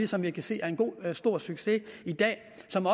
som vi kan se er en god stor succes i dag